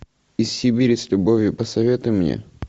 из сибири с любовью посоветуй мне